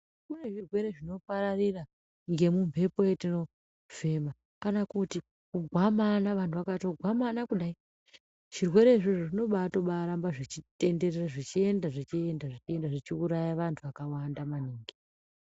Kunezvirwere zvinopararira ngemumhepo yetinofema kana kuti kugwamana, kana vantu vakatogwamana kudai, zvirwere izvozvo zvinobaatoramba zvechitenderera, zvechienda, zvechienda, zvechiuraya vantu vakawanda maningi.